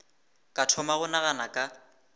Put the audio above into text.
ka thoma go nagana ka